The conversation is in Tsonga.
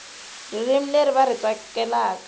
ririmi leri va ri tsakelaka